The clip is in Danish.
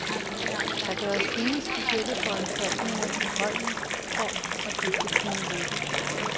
Der gøres ingen specielle foranstaltninger på holdet, for at det skal kunne lykkes.